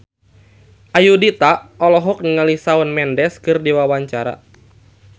Ayudhita olohok ningali Shawn Mendes keur diwawancara